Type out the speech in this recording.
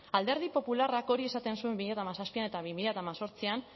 alderdi popularrak hori esaten zuen bi mila hamazazpian eta bi mila hemezortzian